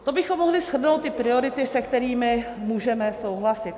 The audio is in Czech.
To bychom mohli shrnout ty priority, se kterými můžeme souhlasit.